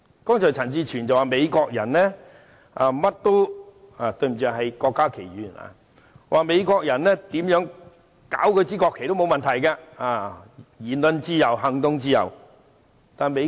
剛才陳志全議員——對不起，應該是郭家麒議員——表示，美國人怎樣破壞國旗也沒問題，因為有言論自由和行動自由。